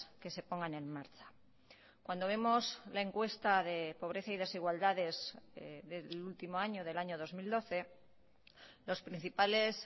que se pongan en marcha cuando vemos la encuesta de pobreza y desigualdades del último año del año dos mil doce los principales